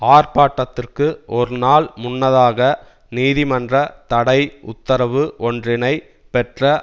ஆர்ப்பாட்டத்திற்கு ஒரு நாள் முன்னதாக நீதிமன்ற தடை உத்தரவு ஒன்றினைப் பெற்ற